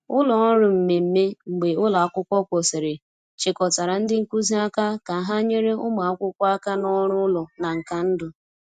Ụlọ ọrụ mmemme mgbe ụlọ akwụkwọ kwụsịrị chịkọtara ndị nkuzi aka ka ha nyere ụmụ akwụkwọ aka na ọrụ ụlọ na nka ndụ.